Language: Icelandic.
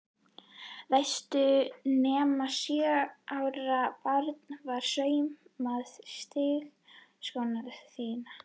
Veistu nema sjö ára barn hafi saumað strigaskóna þína?